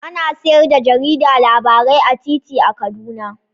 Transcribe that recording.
Ana sayar da jarida labarai a titi a Kaduna